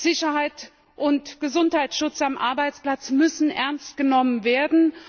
Sicherheit und Gesundheitsschutz am Arbeitsplatz müssen ernst genommen werden.